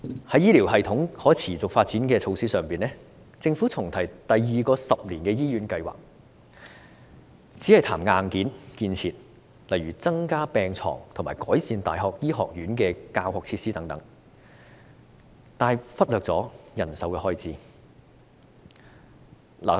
在醫療系統可持續發展的措施上，政府重提第二個十年醫院計劃，只談硬件建設，例如增加病床和改善大學醫學院教學設施等，但卻忽略人手的開支。